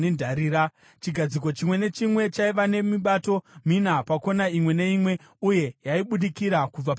Chigadziko chimwe nechimwe chaiva nemibato mina, pakona imwe neimwe, uye yaibudikira kubva pachigadziko.